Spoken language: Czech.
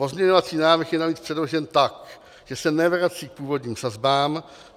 Pozměňovací návrh je navíc předložen tak, že se nevrací k původním sazbám.